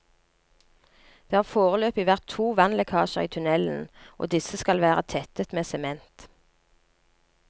Det har foreløpig vært to vannlekkasjer i tunnelen, og disse skal være tettet med sement.